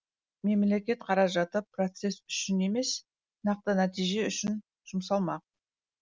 мемлекет қаражаты процесс үшін емес нақты нәтиже үшін жұмсалмақ